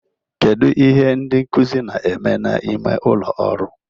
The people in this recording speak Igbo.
Kedu ihe ndị nkuzi na-eme n'ime ụlọ ọrụ?